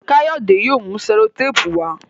Kayode yóò mú sellotape wá.